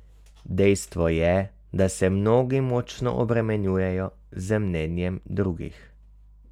Dejstvo je, da se mnogi močno obremenjujejo z mnenjem drugih.